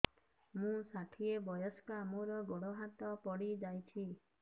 ମୁଁ ଷାଠିଏ ବୟସ୍କା ମୋର ଗୋଡ ହାତ ପଡିଯାଇଛି